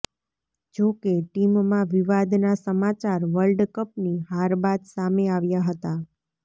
જો કે ટીમમાં વિવાદના સમાચાર વર્લ્ડ કપની હાર બાદ સામે આવ્યા હતા